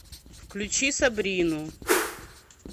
включи сабрину